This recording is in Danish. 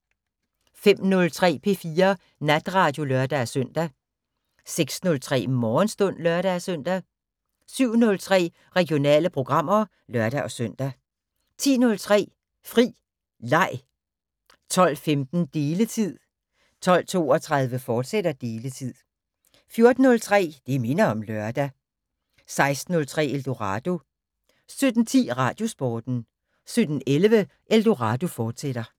05:03: P4 Natradio (lør-søn) 06:03: Morgenstund (lør-søn) 07:03: Regionale programmer (lør-søn) 10:03: Fri Leg 12:15: Deletid 12:32: Deletid, fortsat 14:03: Det minder om lørdag 16:03: Eldorado 17:10: Radiosporten 17:11: Eldorado, fortsat